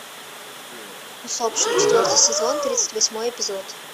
усопшие четвертый сезон тридцать восьмой эпизод